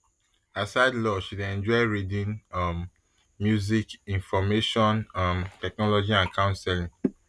aside law she dey enjoy reading um music information um technology and counselling